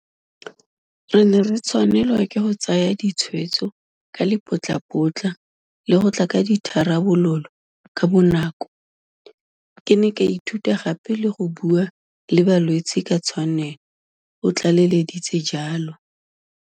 Re ne re tshwanelwa ke go tsaya ditshwetso ka lepotlapotla le go tla ka ditharabololo kabonako. Ke ne ka ithuta gape le go bua le balwetse ka tshwanelo, o tlaleleditse jalo.